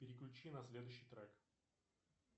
переключи на следующий трек